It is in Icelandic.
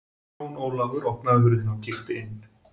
Jón Ólafur opnaði hurðina og kíkti inn.